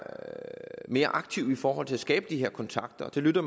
mere aktive i forhold til at skabe de her kontakter det lytter